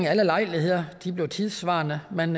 alle lejligheder de blev tidssvarende man